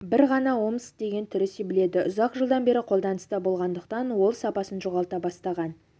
бір ғана омск деген түрі себіледі ұзақ жылдан бері қолданыста болғандықтан ол сапасын жоғалта бастаған